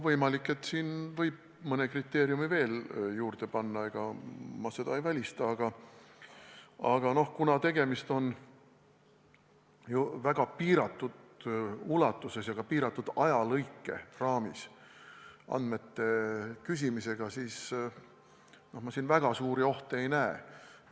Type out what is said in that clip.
Võimalik, et siin võib mõne kriteeriumi juurde panna, ma ei välista seda, aga kuna tegemist on väga piiratud ulatuses ja ka piiratud ajaraamis andmete küsimisega, siis ma siin väga suuri ohte ei näe.